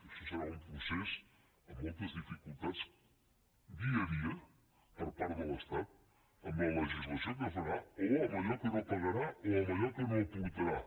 això serà un procés amb moltes dificultats dia a dia per part de l’estat amb la legislació que farà o amb allò que no pagarà o amb allò que no aportarà